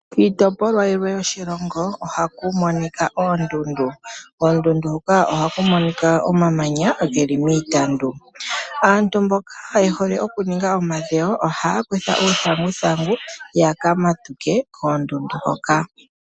Kiitopolwa yilwe yoshilongo, ohaku monika oondundu. Koondundu hoka ohaku monika omamanya geli miitandu. Aantu mboka yehole okuninga omadhewo ohaya kutha uuthanguthangu, yaka matuke koondundu hoka.